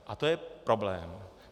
A to je problém.